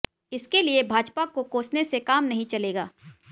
इसके लिए भाजपा को कोसने से काम नहीं चलेगा